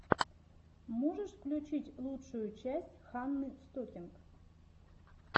можешь включить лучшую часть ханны стокинг